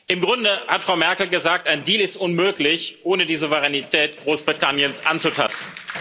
Im Grunde hat Frau Merkel gesagt, ein Deal ist unmöglich, ohne die Souveränität Großbritanniens anzutasten.